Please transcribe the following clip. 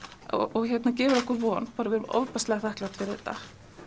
og gefur okkur von við erum ofboðslega þakklát fyrir þetta